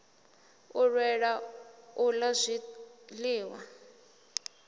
a lwela u ḽa zwiṱanu